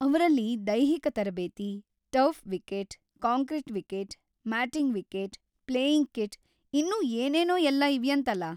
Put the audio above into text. ಅವ್ರಲ್ಲಿ ದೈಹಿಕ ತರಬೇತಿ, turf wicket, concrete wicket, matting wicket, playing kit ಇನ್ನೂ ಏನೇನೋ ಎಲ್ಲ ಇವ್ಯಂತಲ!